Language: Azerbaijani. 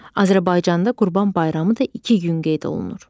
Azərbaycanda Qurban bayramı da iki gün qeyd olunur.